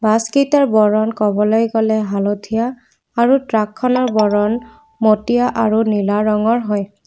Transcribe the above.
বাছকেইটাৰ বৰণ ক'বলৈ গ'লে হালধীয়া আৰু ট্ৰাকখনৰ বৰণ মটীয়া আৰু নীলা ৰঙৰ হয়।